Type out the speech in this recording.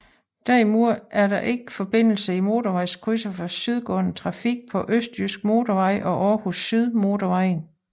Derimod er der ikke forbindelse i motorvejskrydset for sydgående trafik på Østjyske Motorvej og Aarhus Syd Motorvejen